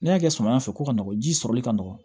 N'i y'a kɛ samiya fɛ ko ka nɔgɔn ji sɔrɔli ka nɔgɔn